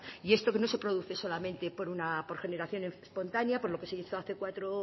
y esto no se produce solamente por generación espontánea por lo que se hizo cuatro